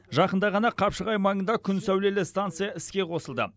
жақында ғана қапшағай маңында күн сәулелі станция іске қосылды